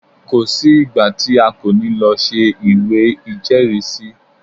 Kò sí ìgbà tí a kò ní lọ ṣe ìwé ìjẹ́rìrísí.